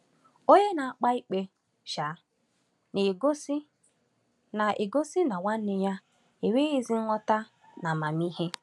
Onye na-akpa ikpe um na-egosi na na-egosi na nwanne ya enweghị ezi nghọta na amamihe.